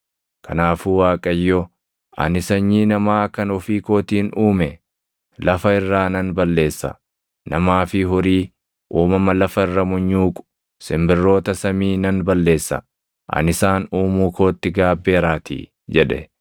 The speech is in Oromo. Kanaafuu Waaqayyo, “Ani sanyii namaa kan ofii kootiin uume lafa irraa nan balleessa. Namaa fi horii, uumama lafa irra munyuuqu, simbirroota samii nan balleessa; ani isaan uumuu kootti gaabbeeraatii” jedhe.